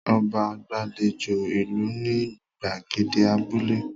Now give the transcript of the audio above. Ọba gbàlejò ìlú ní ìgbàgede abúlé?